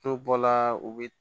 N'u bɔla u bɛ